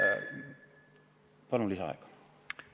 Palun lisaaega!